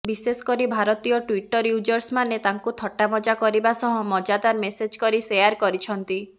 ବିଶେଷକରି ଭାରତୀୟ ଟ୍ୱିଟର ୟୁଜର୍ସମାନେ ତାଙ୍କୁ ଥଟ୍ଟାମଜା କରିବା ସହା ମଜାଦାର ମେମେସ୍ କରି ଶେୟାର କରିଛନ୍ତି